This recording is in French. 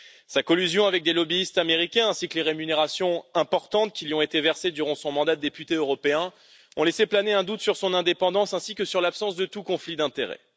Sa collusion avec des lobbyistes américains, ainsi que les rémunérations importantes qui lui ont été versées durant son mandat de députée européen, ont laissé planer un doute sur son indépendance ainsi que sur l'absence de tout conflit d'intérêt.